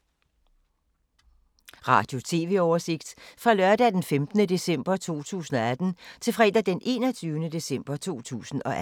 Radio/TV oversigt fra lørdag d. 15. december 2018 til fredag d. 21. december 2018